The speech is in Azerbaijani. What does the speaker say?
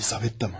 Lizavetta mı?